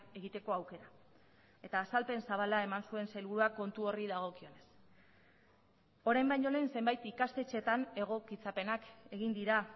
egiteko aukera eta azalpen zabala eman zuen sailburuak kontu horri dagokionez orain baino lehen zenbait ikastetxeetan egokitzapenak egin dira